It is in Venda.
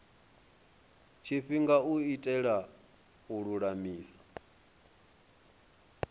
tshifhinga u itela u lulamisa